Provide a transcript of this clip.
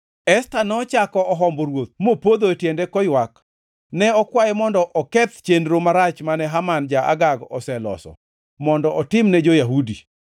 Esta nochako ohombo ruoth mopodho e tiende koywak. Ne okwaye mondo oketh chenro marach mane Haman ja-Agag oseloso, mondo otimne jo-Yahudi.